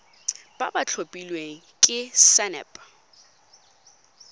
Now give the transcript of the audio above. ba ba tlhophilweng ke sacnasp